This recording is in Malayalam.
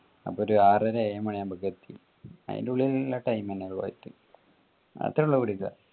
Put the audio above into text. അപ്പൊ ഒരു ആറര ഏഴു മണി ആവുമ്പക്ക് എത്തി അയിന്റെ ഉള്ളിൽ ഉള്ള time എന്നെ